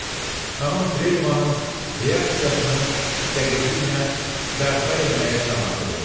Xanım Trevənın reaksiyasını dəqiqliklə bərpa eləməyə can atırdı.